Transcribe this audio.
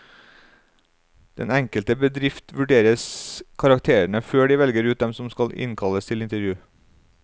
Den enkelte bedrift vurderes karakterene før de velger ut dem som skal innkalles til intervju.